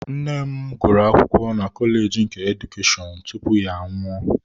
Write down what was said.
Nne m gụrụ akwụkwọ na kọleji nke Edukeshọn tupu ya anwụọ.